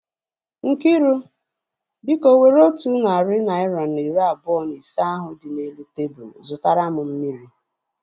Nkiru, biko were otu narị naira na iri abụọ na ise ahu dị n'elu tebụlu zụtara mụ